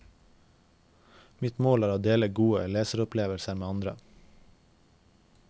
Mitt mål er å dele gode leseropplevelser med andre.